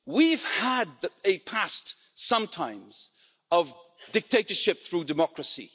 We've had a past sometimes of dictatorship through democracy.